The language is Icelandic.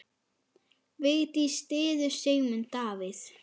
Vigdís styður Sigmund Davíð.